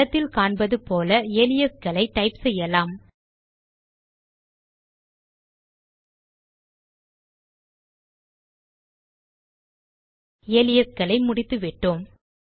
படத்தில் காண்பது போல அலியாசே களை டைப் செய்யலாம்ltpausegt அலியாசே களை முடித்துவிட்டோம்